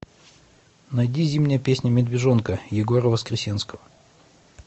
найди зимняя песня медвежонка егора воскресенского